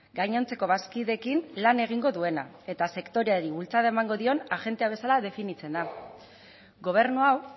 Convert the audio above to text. gainontzeko bazkideekin lan egingo duena eta sektoreari bultzada emango dion agente bezala definitzen da gobernu hau